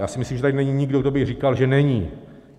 Já si myslím, že tady není nikdo, kdo by říkal, že není.